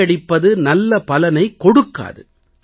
காப்பியடிப்பது நல்ல பலனைக் கொடுக்காது